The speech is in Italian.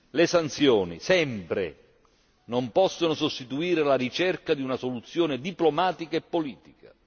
Le sanzioni, sempre, non possono sostituire la ricerca di una soluzione diplomatica e politica.